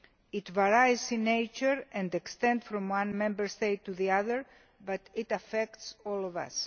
It varies in nature and extent from one Member State to the other, but it affects all of us.